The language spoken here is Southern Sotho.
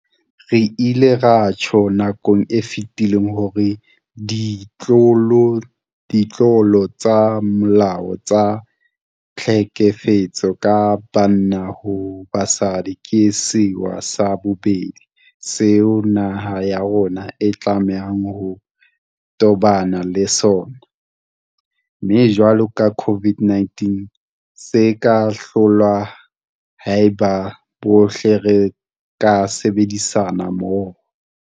Re ile ra tjho nakong e fetileng hore ditlolo tsa molao tsa tlhekefetso ka banna ho basadi ke sewa sa bobedi seo naha ya rona e tlamehang ho tobana le sona, mme jwalo ka COVID-19 se ka hlolwa haeba bohle re ka sebedisana mmoho.